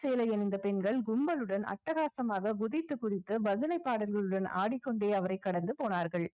சேலை அணிந்த பெண்கள் கும்பலுடன் அட்டகாசமாக குதித்து குதித்து பஜனை பாடல்களுடன் ஆடிக்கொண்டே அவரை கடந்து போனார்கள்